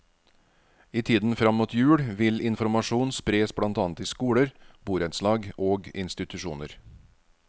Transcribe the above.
I tiden frem mot jul vil informasjon spres blant annet i skoler, borettslag og institusjoner.